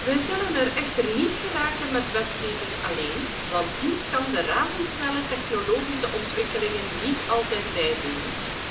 Wij zullen er echter niet komen met wetgeving alleen, want die kan de razendsnelle technologische ontwikkelingen niet altijd bijbenen.